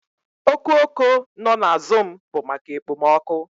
Oku oko no na azụm bụ maka ekpomọkụ